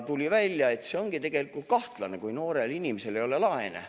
Tuli välja, et see on tegelikult kahtlane, kui noorel inimesel ei ole laene.